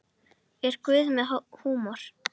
Er Guð með húmor?